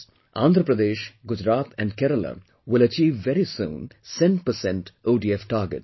Andhra Pradesh, Gujarat and Kerala will achieve very soon cent percent ODF targets